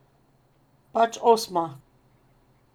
Pač osma.